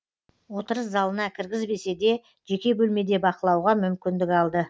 отырыс залына кіргізбесе де жеке бөлмеде бақылауға мүмкіндік алды